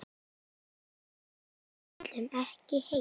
Við ætlum ekki heim!